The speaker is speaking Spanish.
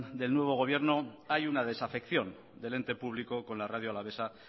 del nuevo gobierno hay una desafección del ente público con la radio alavesa